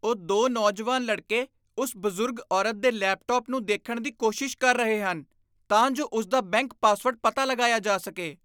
ਉਹ ਦੋ ਨੌਜਵਾਨ ਲੜਕੇ ਉਸ ਬਜ਼ੁਰਗ ਔਰਤ ਦੇ ਲੈਪਟਾਪ ਨੂੰ ਦੇਖਣ ਦੀ ਕੋਸ਼ਿਸ਼ ਕਰ ਰਹੇ ਹਨ ਤਾਂ ਜੋ ਉਸਦਾ ਬੈਂਕ ਪਾਸਵਰਡ ਪਤਾ ਲਗਾਇਆ ਜਾ ਸਕੇ।